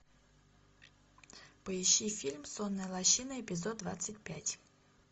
поищи фильм сонная лощина эпизод двадцать пять